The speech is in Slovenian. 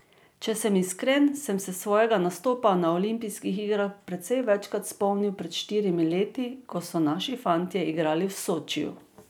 Če sem iskren, sem se svojega nastopa na olimpijskih igrah precej večkrat spomnil pred štirimi leti, ko so naši fantje igrali v Sočiju.